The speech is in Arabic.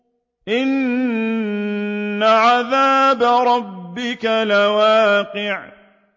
إِنَّ عَذَابَ رَبِّكَ لَوَاقِعٌ